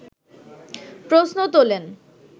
প্রশ্ন তোলেন